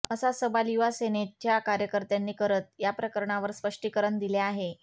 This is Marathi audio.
असा सवाल युवा सेनेच्या कार्यकर्त्यांनी करत याप्रकरणावर स्पष्टीकरण दिले आहे